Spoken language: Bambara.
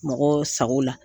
Mɔgɔw sago la.